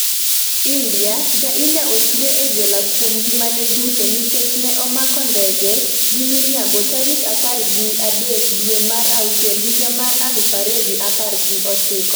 India: Ja-India otwe e jela kuom ngimane duto nikech ne omako ndege gi miriambo tarik apar gi adek dwe mar auchiel higa mar aluf ariyo gi apar gochiko